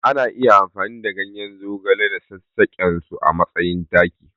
Ana iya amfani da ganyen zogale da sassaƙensu a matsayin taki.